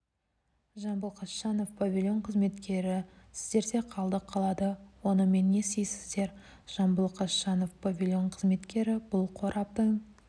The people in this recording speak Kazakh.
жамбыл қасжанов павильон қызметкері сіздерде қалдық қалады онымен не істейсіздер жамбыл қасжанов павильон қызметкері бұл қораптың